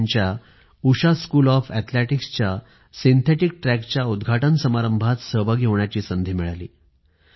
उषा यांच्या Usha school of athletics च्या synthetic ट्रॅकच्या उदघाटन समारंभात सहभागी होण्याची संधी मिळाली